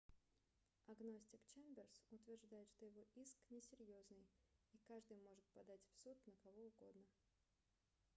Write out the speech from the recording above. агностик чемберс утверждает что его иск несерьезный и каждый может подать в суд на кого угодно